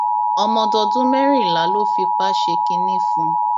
ọmọdọdún mẹrìnlá ló fipá ṣe kínní fún